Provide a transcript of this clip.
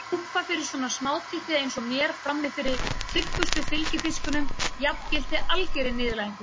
Að lúffa fyrir svona smátitti eins og mér frammi fyrir tryggustu fylgifiskunum jafngilti algerri niðurlægingu.